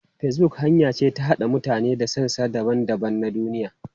Facebook hanya ce ta haɗa mutane daga sassa daban-daban na duniya.